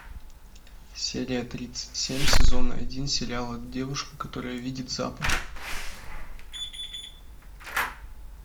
серия тридцать семь сезона один сериала девушка которая видит запахи